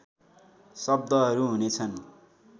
शब्दहरू हुनेछन्